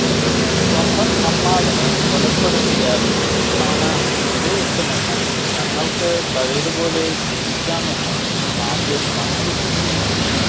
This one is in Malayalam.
സ്വന്തം അമ്മാവനെ കൊലപ്പെടുത്തിയാൽ റുക്സാന തിരികെ എത്തുമെന്നും തങ്ങൾക്ക് പഴയപോലെ ജീവിക്കാമെന്നും സാഫിർ കണക്കുകൂട്ടി